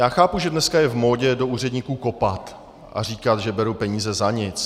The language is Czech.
Já chápu, že dneska je v módě do úředníků kopat a říkat, že berou peníze za nic.